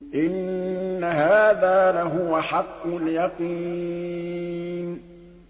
إِنَّ هَٰذَا لَهُوَ حَقُّ الْيَقِينِ